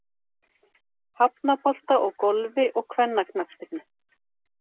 Hafnabolta og Golfi og kvennaknattspyrnu.